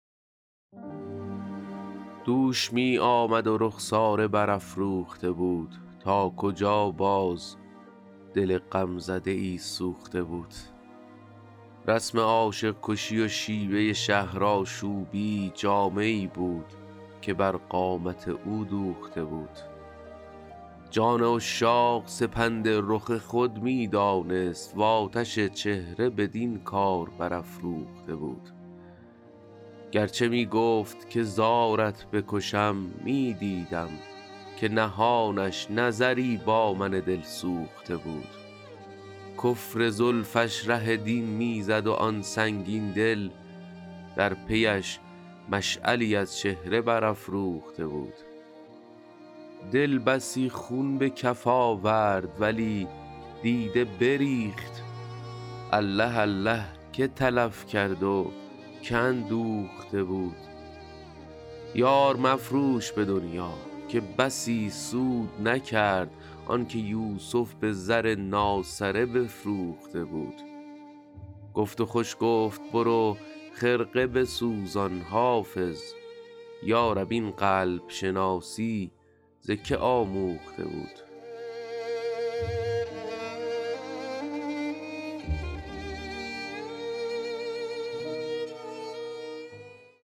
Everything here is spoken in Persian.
دوش می آمد و رخساره برافروخته بود تا کجا باز دل غمزده ای سوخته بود رسم عاشق کشی و شیوه شهرآشوبی جامه ای بود که بر قامت او دوخته بود جان عشاق سپند رخ خود می دانست و آتش چهره بدین کار برافروخته بود گر چه می گفت که زارت بکشم می دیدم که نهانش نظری با من دلسوخته بود کفر زلفش ره دین می زد و آن سنگین دل در پی اش مشعلی از چهره برافروخته بود دل بسی خون به کف آورد ولی دیده بریخت الله الله که تلف کرد و که اندوخته بود یار مفروش به دنیا که بسی سود نکرد آن که یوسف به زر ناسره بفروخته بود گفت و خوش گفت برو خرقه بسوزان حافظ یا رب این قلب شناسی ز که آموخته بود